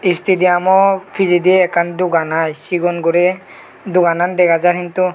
istidiaamw pijedi ekkan dogan i sigon guri doganan dega jar hintu.